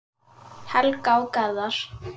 Helga og Garðar.